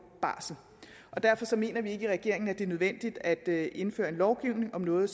barsel derfor mener vi ikke i regeringen at det er nødvendigt at indføre lovgivning om noget